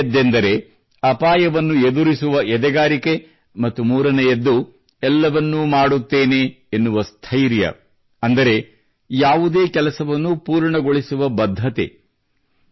ಎರಡನೆಯದ್ದೆಂದರೆ ಅಪಾಯವನ್ನು ಎದುರಿಸುವ ಎದೆಗಾರಿಕೆ ಮತ್ತು ಮೂರನೆಯದ್ದು ಎಲ್ಲವನ್ನೂ ಮಾಡುತ್ತೇನೆ ಎನ್ನುವ ಸ್ಥೈರ್ಯ ಅಂದರೆ ಯಾವುದೇ ಕೆಲಸವನ್ನು ಪೂರ್ಣಗೊಳಿಸುವ ಬದ್ಧತೆ